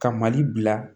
Ka mali bila